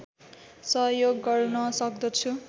सहयोग गर्न सक्दछु